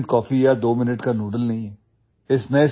instant coffee या दो minute का ନୁଡଲ୍ସ नहीं हैं